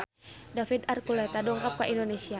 David Archuletta dongkap ka Indonesia